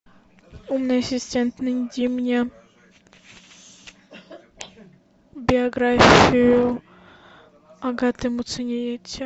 умный ассистент найди мне биографию агаты муцениеце